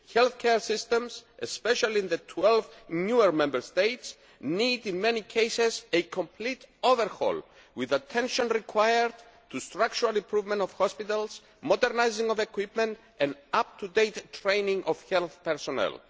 Health care systems, especially in the 12 newer Member States, need in many cases a complete overhaul, with attention required to the structural improvement of hospitals, the modernisation of equipment and up to date training of health personnel.